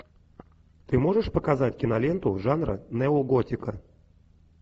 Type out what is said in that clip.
ты можешь показать киноленту жанра неоготика